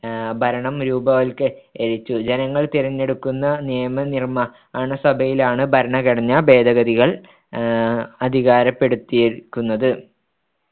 ആഹ് ഭരണം രൂപവത്കരിച്ചു ജനങ്ങൾ തിരഞ്ഞെടുക്കുന്ന നിയമനിർമ്മാണസഭയിലാണ്‌ ഭരണഘടനാ ഭേദഗതികൾ ആഹ് അധികാരപ്പെടുത്തിയിരിക്കുന്നത്‌